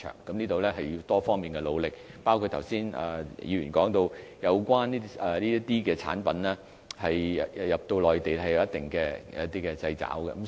這事需要多方面的努力，包括剛才議員提到，有關的產品進入內地市場有一定的限制。